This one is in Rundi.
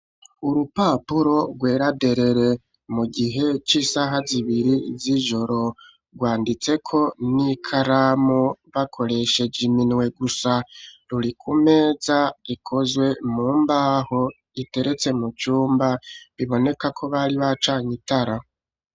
Urupapuro, rwera derere; mu gihe, c'isaha zibiri z'ijoro; rwanditseko n'ikaramu, bakoresheje iminwe gusa; ruri ku meza, ikozwe mu mbaho, iteretse mu cumba; biboneka ko, bari bacanye itara.